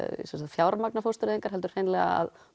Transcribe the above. fjármagna fóstureyðingar heldur hreinlega að